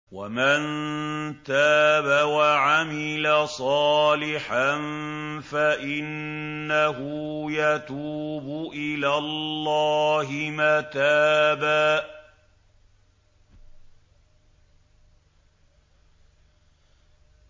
وَمَن تَابَ وَعَمِلَ صَالِحًا فَإِنَّهُ يَتُوبُ إِلَى اللَّهِ مَتَابًا